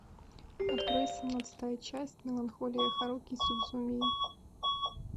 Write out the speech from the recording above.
открой семнадцатая часть меланхолия харухи судзумии